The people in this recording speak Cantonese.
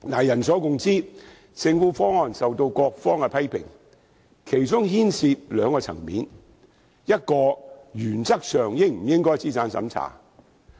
人所共知，政府提出的方案備受各方批評，其中牽涉兩個層面：第一，原則上應否進行資產審查？